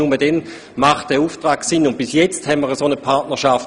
Und bisher besteht eben noch keine solche Partnerschaft.